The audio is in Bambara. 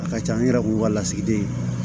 A ka ca an yɛrɛ kun ka lasigiden